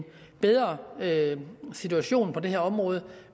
bedre situation på det her område